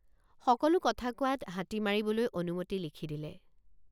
সকলো কথা কোৱাত হাতী মাৰিবলৈ অনুমতি লিখি দিলে।